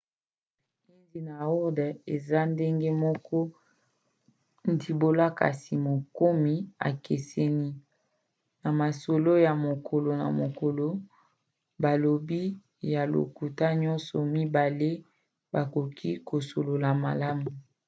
hindi na urdu eza na ndenge moko ndimbola kasi makomi ekeseni; na masolo ya mokolo na mokolo balobi ya lokota nyonso mibale bakoki kosolola malamu